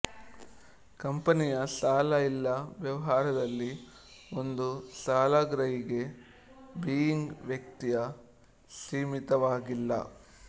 ಕಂಪನಿಯ ಸಾಲ ಇಲ್ಲ ವ್ಯವಹಾರದಲ್ಲಿ ಒಂದು ಸಾಲಗ್ರಾಹಿಗೆ ಬೀಯಿಂಗ್ ವ್ಯಕ್ತಿಯ ಸೀಮಿತವಾಗಿಲ್ಲ